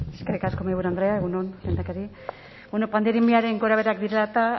eskerrik asko mahaiburu andrea egun on lehendakari pandemiaren gorabeherak direla eta